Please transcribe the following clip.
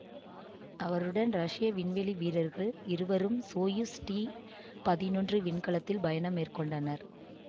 அவருடன் ரஷ்ய விண்வெளி வீரர்கள் இருவரும் சோயுஸ் டி பதினொன்று விண்கலத்தில் பயணம் மேற்கொண்டனர்